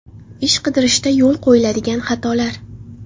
Ish qidirishda yo‘l qo‘yiladigan xatolar.